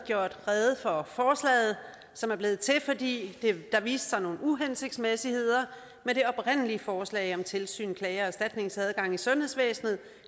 gjort rede for forslaget som er blevet til fordi der viste sig nogle uhensigtsmæssigheder med det oprindelige forslag om tilsyn klage og erstatningsadgang i sundhedsvæsenet